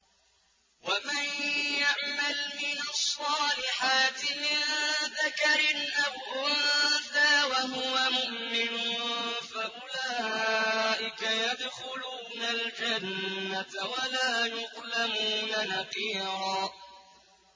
وَمَن يَعْمَلْ مِنَ الصَّالِحَاتِ مِن ذَكَرٍ أَوْ أُنثَىٰ وَهُوَ مُؤْمِنٌ فَأُولَٰئِكَ يَدْخُلُونَ الْجَنَّةَ وَلَا يُظْلَمُونَ نَقِيرًا